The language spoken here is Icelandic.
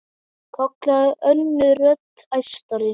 kallaði önnur rödd, æstari.